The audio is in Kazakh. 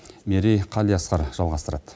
мерей қалиасқар жалғастырады